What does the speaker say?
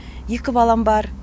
екі балам бар